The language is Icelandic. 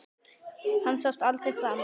Hann sást aldrei framar.